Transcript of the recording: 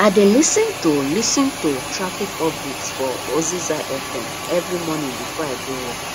i dey lis ten to lis ten to traffic updates for oziza fm every morning before i go work